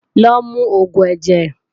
Lo mu oògùn ẹ̀jẹ̀!